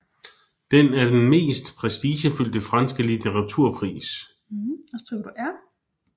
Den er den mest prestigefyldte franske litteraturpris